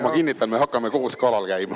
Ma kinnitan, et me hakkame koos kalal käima.